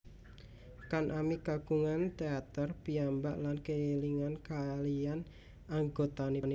Kan ami kagungan teater piyambak lan keliling kaliyan anggotanipun